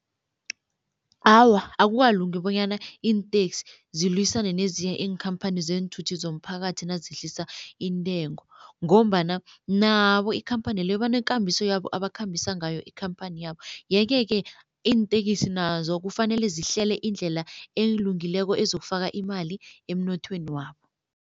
Awa akukalungi bonyana iinteksi zilwisane nezinye iinkhampani zeenthuthi zomphakathi nazehlisa intengo ngombana nabo ikhamphani le banekambiso yabo abakhambisa ngayo ikhamphani yabo yeke-ke iintekisi nazo kufanele zihlele indlela elungileko ezokufaka imali emnothweni wabo.